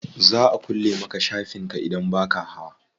Za a kulle maka shafin ka idan baka hawa.